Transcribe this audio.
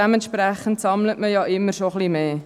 Dementsprechend sammelt man immer ein bisschen mehr.